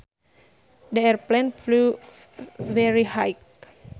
The airplane flew very high